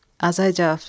Azay cavab verdi: